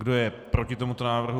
Kdo je proti tomuto návrhu?